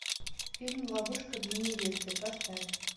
фильм ловушка для невесты поставь